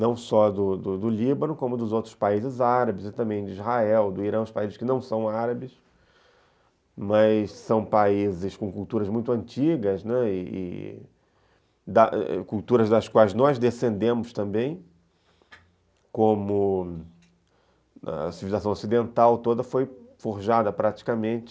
não só do do Líbano, como dos outros países árabes e também de Israel, do Irã, os países que não são árabes, mas são países com culturas muito antigas, né, e e culturas das quais nós descendemos também, como a civilização ocidental toda foi forjada praticamente